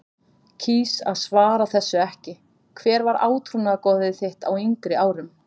kýs að svara þessu ekki Hver var átrúnaðargoð þitt á yngri árum?